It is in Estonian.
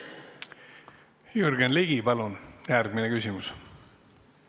Jürgen Ligi, palun järgmine küsimus!